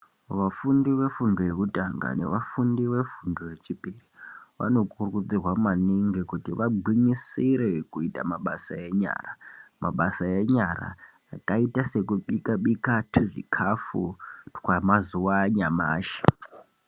Vafunfi vefundo yekutanga nevafundi vefundo yechipiri vanokurudzirwa maningi kuti vagwinyisire kuita mabasa enyara mabasa enyara akaita sekubika bika tuzvikafu twamazuwa anyamashi.